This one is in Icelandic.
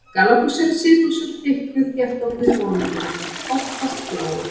Gallabuxur eru síðbuxur úr þykku, þéttofnu bómullarefni, oftast bláu.